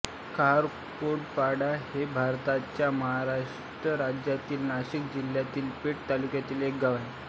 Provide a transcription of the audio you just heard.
काहंडोळपाडा हे भारताच्या महाराष्ट्र राज्यातील नाशिक जिल्ह्यातील पेठ तालुक्यातील एक गाव आहे